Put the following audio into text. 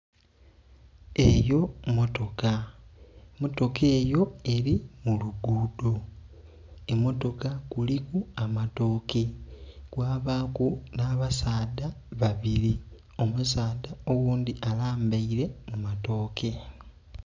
Eeyo motoka, motoka eyo eri muluguudo emotoka kuliku amatooke kwabaku n'abasadha babiri, omusadha oghundhi alambaire mu matooke.